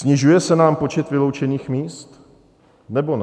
Snižuje se nám počet vyloučených míst, nebo ne?